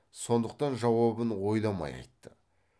сондықтан жауабын ойламай айтты